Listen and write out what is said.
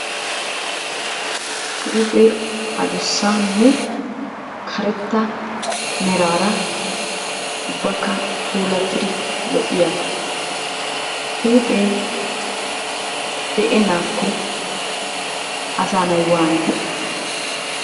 Huuphee adussanne karetta meraara ubbakka puulattidi lo'iyagaa. Huuphee de'ennaakko asaanay waananee?